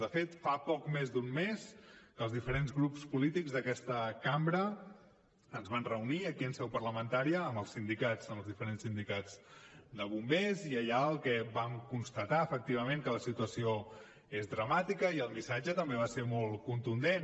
de fet fa poc més d’un mes que els diferents grups polítics d’aquesta cambra ens vam reunir aquí en seu parlamentària amb els sindicats amb els diferents sindicats de bombers i allà el que vam constatar efectivament que la situació és dramàtica i el missatge també va ser molt contundent